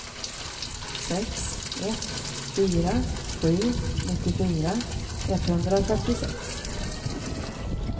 sex ett fyra sju nittiofyra etthundrafyrtiosex